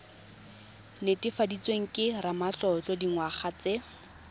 netefaditsweng ke ramatlotlo dingwaga tse